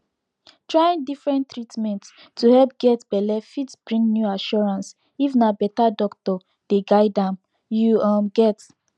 trying differnent treatment to help get belle fit bring new assuracance if na better doctor dey guide amyou um get